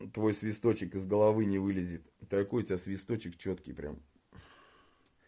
твой свисточек из головы не вылезет такой у тебя свисточек чёткий прям